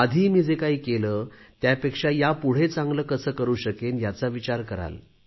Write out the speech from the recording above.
आधी मी जे काही केले त्यापेक्षा यापुढे चांगले कसे करू शकेन याचा विचार कराल